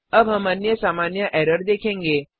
अब हम अन्य सामान्य एरर देखेंगे